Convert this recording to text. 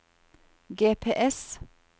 GPS